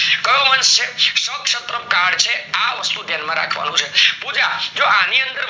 કયો વંશ છે શક્શાત્રક કાળ છે આ વસ્તુ ધ્યાન માં રાખવાનું છે, આની અંદર